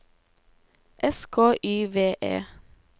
S K Y V E